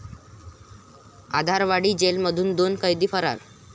आधारवाडी जेलमधून दोन कैदी फरार